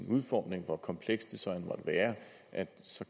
udformning hvor komplekst det så end måtte være